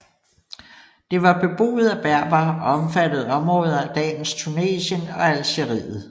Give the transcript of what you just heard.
Det var beboet af berbere og omfattede områder af dagens Tunesien og Algeriet